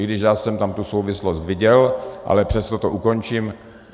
I když já jsem tam tu souvislost viděl, ale přesto to ukončím.